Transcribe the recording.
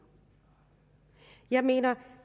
jeg mener